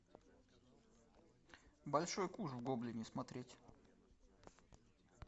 большой куш в гоблине смотреть